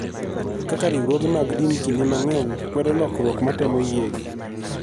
Kaka Riwruoge mag din kinde mang�eny kwedo lokruok ma temo yiegi.